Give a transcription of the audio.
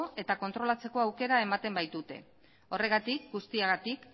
eta kontrolatzeko aukera ematen baitute horregatik guztiagatik